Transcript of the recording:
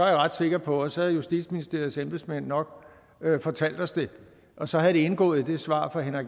jeg ret sikker på at så havde justitsministeriets embedsmænd nok fortalt os det og så havde det indgået i det svar fra herre